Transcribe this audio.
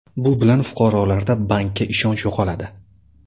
Bu bilan fuqarolarda bankka ishonch yo‘qoladi.